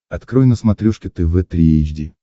открой на смотрешке тв три эйч ди